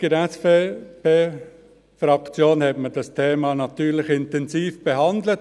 Die SVP-Fraktion hat dieses Thema natürlich intensiv behandelt.